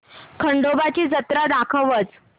खंडोबा ची जत्रा दाखवच